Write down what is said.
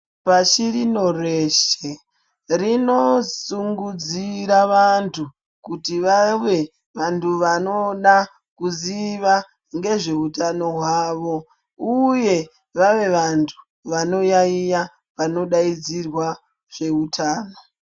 Pashi rino reshe rinosungudzira vantu kuti vave vantu vanoda kuziva ngezve hutano hwawo uye vave vantu vanoyayiya panodaidzirwa zvehutano.